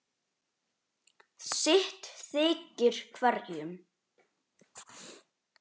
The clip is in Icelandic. sitt þykir hverjum